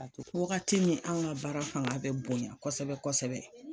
Ati wagati min anw ŋa baara faŋa bɛ bonya kosɛbɛ-kosɛbɛ